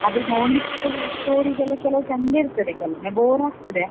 ಆದ್ರೆ ನೋಡ್ಲಿಕ್ಕೆ stories ಎಲ್ಲಾ ಕೆಲವ್ ಚೆಂದ ಇರ್ತದೆ ಕೆಲವೊಮ್ಮೆ bore ಆಗ್ತದೆ.